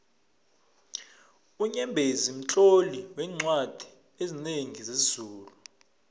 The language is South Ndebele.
unyembezi mtloli weencwadi ezinengi zesizulu